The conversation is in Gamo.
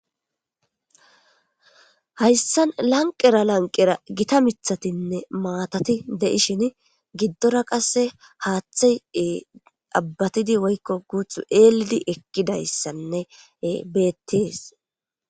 hayssan lanqera lanqera gita mithatinne maatati de7ishin giddora qasse haaththe abbatidi woykko guuthu eelidi ekkidayssanne bettes